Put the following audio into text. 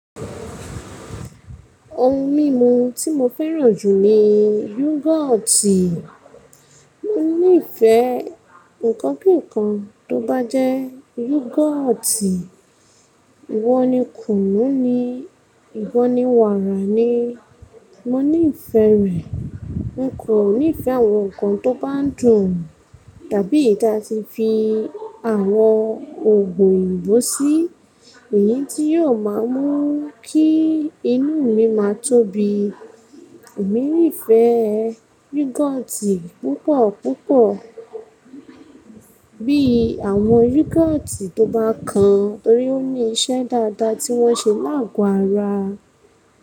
Ohun mímu tí mo fẹ́ràn jù ni yúgọ́ọ́tì. Mo nífẹ̀ẹ́ nǹkan bí i nǹkan tó bá jẹ́ yúgọ́ọ́tì, ìwọ ni kùnnú ní, ìwọ ni wàrà ní, mo nífẹ̀ẹ́ rẹ̀. Ń kò nífẹ̀ẹ́ àwọn nǹkan tó bá dùn, tàbí ìta ti fi àwọn ògùn òyìnbó sí i, èyí tí yóò máa mú kí inú mi má tóbi. Èmi nífẹ̀ẹ́ yúgọ́ọ́tì púpọ̀ púpọ̀, bí i àwọn yúgọ́ọ́tì tó bá kan torí ó ní iṣẹ́ dáadáa tí wọ́n ṣe láàgò ara.